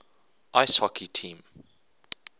ice hockey team